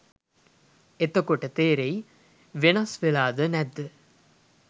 එතකොට තෙරෙයි වෙනස් වෙලාද නැද්ද